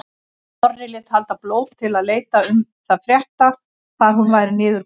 Þorri lét halda blót til að leita um það frétta hvar hún væri niður komin.